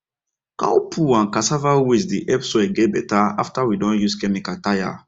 cow poo and cassava waste dey help soil get better after we don use chemical tire